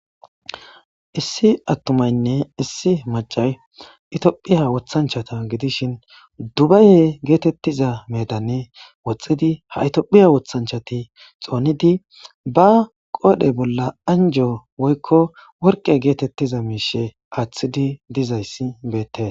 Issi attumaynne issi maccay itophphiya woththanchchata gidishin dubaye geetettiza meedan woxxidi ha itophphiya woththanchchati xoonidi baa qoodhe bolla anjjo woykko worqqe geetettiza miishshe aaththidi dizayssi beettes.